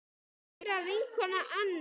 Kæra vinkona Anna.